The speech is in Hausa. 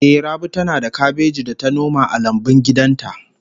Ehh, Rabi tana da kabeji da ta noma a lambun gidan ta